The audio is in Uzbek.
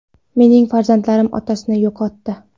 Mening farzandlarim otasini yo‘qotdi.